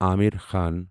Aamir Khan